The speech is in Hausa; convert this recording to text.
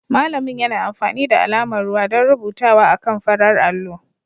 Malamin yana amfani da alamar ruwa don rubutawa akan farar allo